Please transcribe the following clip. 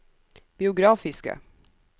biografiske